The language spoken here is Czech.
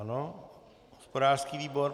Ano, hospodářský výbor.